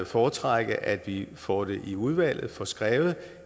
foretrække at vi får det i udvalget og får skrevet